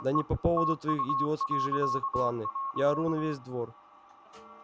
да не по поводу твоих идиотских железок планы я ору на весь двор